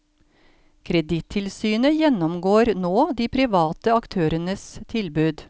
Kredittilsynet gjennomgår nå de private aktørenes tilbud.